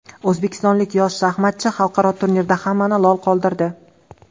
O‘zbekistonlik yosh shaxmatchi xalqaro turnirda hammani lol qoldirdi.